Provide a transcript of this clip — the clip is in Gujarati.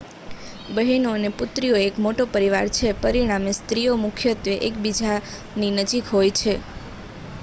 બહેનો અને પુત્રીઓ એક મોટો પરિવાર છે પરિણામે સ્ત્રીઓ મુખ્યત્વે એકબીજાની નજીક હોય